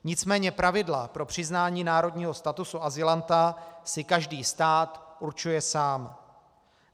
Nicméně pravidla pro přiznání národního statusu azylanta si každý stát určuje sám.